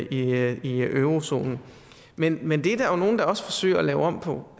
er med i eurozonen men men det er der jo nogle der også forsøger at lave om på